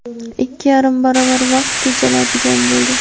ikki yarim baravar vaqt tejaladigan bo‘ldi.